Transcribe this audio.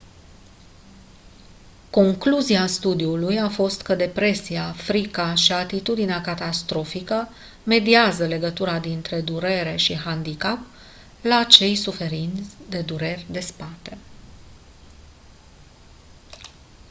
concluzia studiului a fost că depresia frica și atitudinea catastrofică mediază legătura dintre durere și handicap la cei suferind de dureri de spate